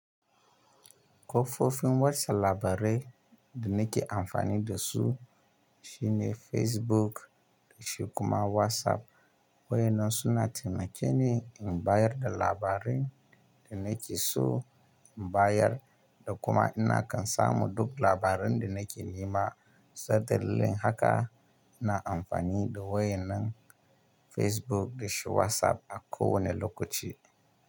Ko fofin watsa labarai da nake amfani da su shine Facebook da shi kuma WhatsApp, waye nan suna taimake ni in bayar da labarin da nake so in bayar da kuma ina kan samu duk labaran da nake nema, saboda haka ina amfani da wayenen Facebook da shi WhatsApp a kowane lokaci.